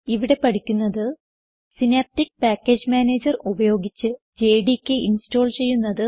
ഇവിടെ പഠിക്കുന്നത് Synaptic package manager ഉപയോഗിച്ച് ജെഡികെ ഇൻസ്റ്റോൾ ചെയ്യുന്നത്